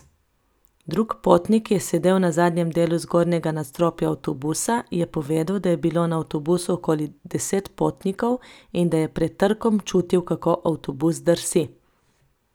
Drug potnik, ki je sedel na zadnjem delu zgornjega nadstropja avtobusa, je povedal, da je bilo na avtobusu okoli deset potnikov in da je pred trkom čutil, kako avtobus drsi.